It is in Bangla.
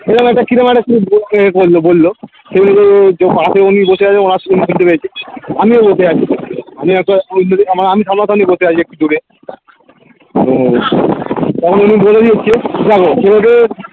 সে যেন একটা কিরম একটা বললো বললো যে পশে উনি বসে আছেন ওনার সঙ্গে পেয়েছে আমিও বসে আছি আমি একটা এবার আমি সামনা সামনি বসে আছি দেখছি তখন উনি বলে দেখো